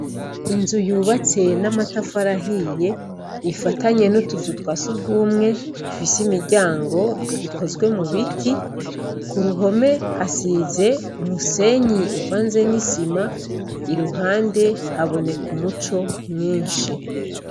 Inzu yubatse n’amatafari ahiye ifatanye n’utuzu twa sugumwe, ifise imiryango ikozwe mu biti. Ku ruhome hasize umusenyi uvanze n’isima, iruhande haboneka umuco mwinshi.